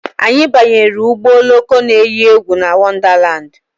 Anyị banyere ụgbọ oloko na eyi egwu na Wondalandi